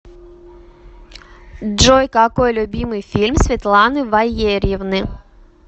джой какой любимый фильм светланы ваерьевны